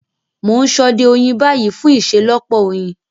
Mo n sode oyin ni bayi fun iṣelọpọ oyin.